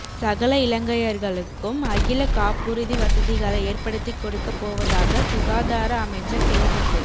சகல இலங்கையர்களுக்கும் அகில காப்புறுதி வசதிகளை ஏற்படுத்திக் கொடுக்கப் போவதாக சுகாதார அமைச்சர் தெரிவிப்பு